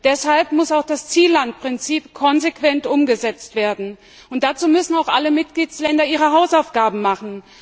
Deshalb muss auch das Ziellandprinzip konsequent umgesetzt werden. Dazu müssen auch alle Mitgliedstaaten ihre Hausaufgaben machen.